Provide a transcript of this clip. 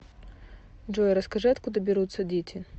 джой расскажи откуда берутся дети